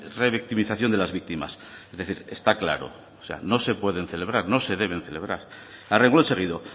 revictimización de las víctimas es decir está claro o sea no se pueden celebrar no se deben celebrar a reglón seguido